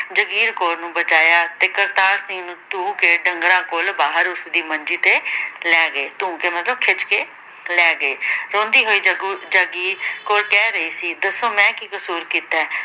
ਜਾਗੀਰ ਕੌਰ ਨੂੰ ਬਚਾਇਆ ਅਤੇ ਕਰਤਾਰ ਸਿੰਘ ਨੂੰ ਧੂਹ ਕੇ ਡੰਗਰਾਂ ਕੋਲ ਬਾਹਰ ਉਸਦੀ ਮੰਜੀ ਤੇ ਲੈ ਗਏ। ਧੂਹ ਕੇ ਮਤਲਬ ਖਿੱਚ ਕੇ ਲੈ ਗਏ ਰੋਂਦੀ ਹੋਈ ਜਗੁ ਜਗੀਰ ਕੌਰ ਕਹਿ ਰਹੀ ਸੀ ਦੱਸੋ ਮੈ ਕੀ ਕਸੂਰ ਕੀਤਾ ਏ।